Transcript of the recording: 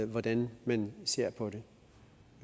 hvordan man ser på det